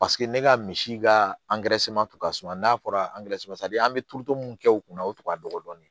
Paseke ne ka misi ka tun ka suma n'a fɔra an bɛ turuto mun kɛ u kunna o tun ka dɔgɔ dɔɔni